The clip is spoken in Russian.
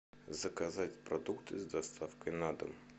заказать продукты с доставкой на дом